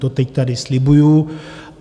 To teď tady slibuji.